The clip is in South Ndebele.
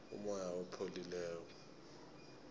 umoya opholileko